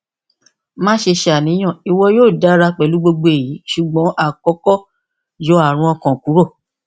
maṣe ṣàníyàn iwọ yoo dara pẹlu gbogbo eyi ṣugbọn akọkọ yọ arun ọkàn kuro